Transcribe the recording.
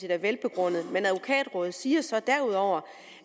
er velbegrundet men advokatrådet siger så derudover